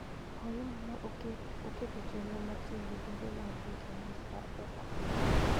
Hoima ne oketo chenro mar tiyo gi bilion ariyo gi nus mar pesa Amerka.